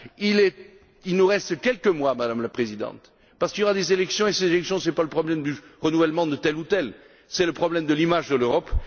Il nous reste quelques mois, Madame la Présidente, parce qu'il y aura des élections et ces élections, ce n'est pas le problème du renouvellement de tel ou tel, c'est le problème de l'image de l'Europe.